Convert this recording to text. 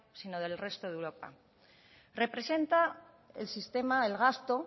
sino del resto de europa representa el sistema el gasto